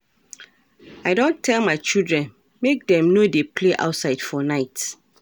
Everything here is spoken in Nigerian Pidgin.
I don tell my children make dem no dey play outside for night